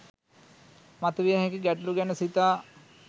මතු විය හැකි ගැටලු ගැන සිතා